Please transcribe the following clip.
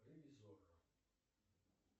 ревизорро